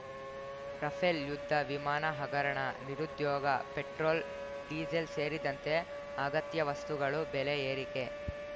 Rafale ಯುದ್ಧ ವಿಮಾನ ಹಗರಣ ನಿರುದ್ಯೋಗ ಪೆಟ್ರೋಲ್ ಡೀಸೆಲ್ ಸೇರಿದಂತೆ ಅಗತ್ಯ ವಸ್ತುಗಳು ಬೆಲೆ ಏರಿಕೆ